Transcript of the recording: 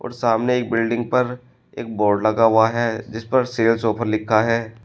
और सामने एक बिल्डिंग पर एक बोर्ड लगा हुआ है जिस पर सेल्स ऑफर लिखा है।